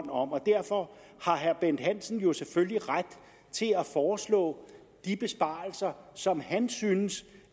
og derfor har bent hansen jo selvfølgelig ret til at foreslå de besparelser som han synes